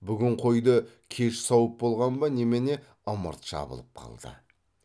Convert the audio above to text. бүгін қойды кеш сауып болған ба немене ымырт жабылып қалды